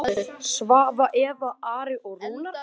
Svava, Eva, Ari og Rúnar.